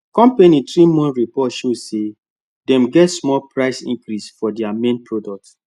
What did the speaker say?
company three month report show say dem get small price increase for their main product